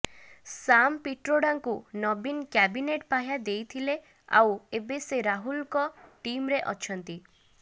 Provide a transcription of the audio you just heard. ସାମ୍ ପିଟ୍ରୋଡାଙ୍କୁ ନବୀନ କ୍ୟାବିନେଟ୍ ପାହ୍ୟା ଦେଇଥିଲେ ଆଉ ଏବେ ସେ ରାହୁଲଙ୍କ ଟିମ୍ରେ ଅଛନ୍ତି